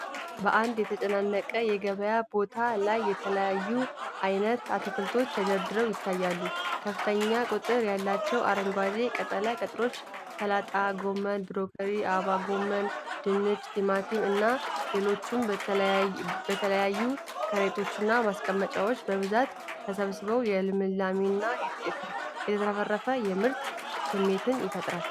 በአንድ የተጨናነቀ የገበያ ቦታ ላይ የተለያዩ አይነት አትክልቶች ተደርድረው ይታያሉ። ከፍተኛ ቁጥር ያላቸው አረንጓዴ ቅጠላ ቅጠሎች፣ ሰላጣ፣ ጎመን፣ ብሮኮሊ፣ አበባ ጎመን፣ ድንች፣ ቲማቲም እና ሌሎችም በተለያዩ ከረጢቶችና ማስቀመጫዎች በብዛት ተሰብስበው የልምላሜና የተትረፈረፈ የምርት ስሜት ይፈጥራሉ።